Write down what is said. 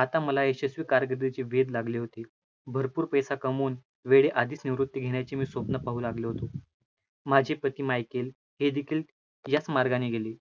आता मला यशस्वी कारकिर्दीचे वेध लागले होते, भरपूर पैसा कमवून वेळी आधीच निवृत्ती घेण्याची मी स्वप्न पाहू लागलो होतो. माझी प्रतिमा ऐकेल हे देखील याच मार्गाने गेली.